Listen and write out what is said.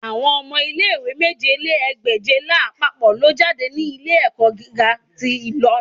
Awọn ọmọ ile-iwe mèje lé ní ẹgbẹ́je lapapọ lo jade ni ile-ẹkọ giga ti Ilorin